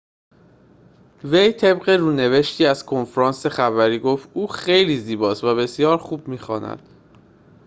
وی طبق رونوشتی از کنفرانس خبری گفت او خیلی زیباست و بسیار خوب می‌خواند